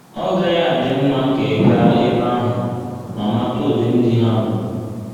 Ọ́ gaghị adị mma ka ị gaa ebe ahụ ma mata ụdị ndị ha bụ?